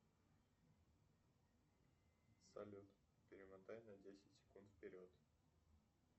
салют перемотай на десять секунд вперед